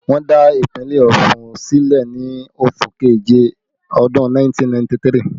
Wọ́n dá ìpínlẹ̀ Ọ̀ṣun sílẹ̀ ni oṣù keje ọdún 1993